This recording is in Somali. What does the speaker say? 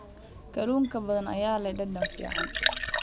Kalluunka badda ayaa leh dhadhan fiican.